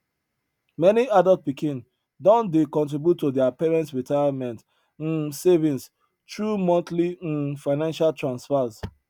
many adult pikin don dey contribute to their parents retirement um savings through monthly um financial transfers